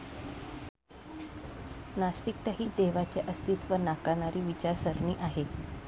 नास्तिकता ही देवाचे अस्तित्व नाकारणारी विचारसरणी आहे.